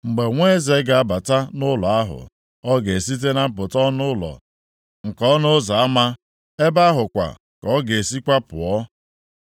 Mgbe nwa eze ga-abata nʼụlọ ahụ, ọ ga-esite na mpụta ọnụ ụlọ nke ọnụ ụzọ ama, ebe ahụ kwa ka ọ ga-esikwa pụọ.